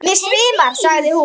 Mig svimar, sagði hún.